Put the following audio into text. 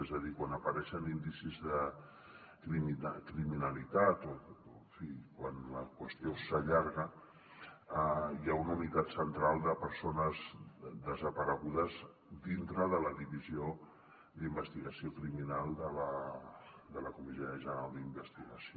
és a dir quan apareixen indicis de criminalitat o en fi quan la qüestió s’allarga hi ha una unitat central de persones desaparegudes dintre de la divisió d’investigació criminal de la comissaria general d’investigació